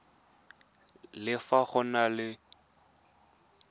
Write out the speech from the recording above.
le fa go na le